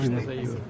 Cansağlığı.